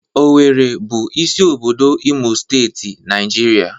Owerri bụ isi obodo Imo Steeti, Naijiria.